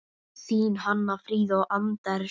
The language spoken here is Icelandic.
Þín Hanna Fríða og Anders.